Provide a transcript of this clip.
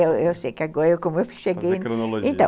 Eu eu sei que agora, como eu cheguei... Fazer cronologia.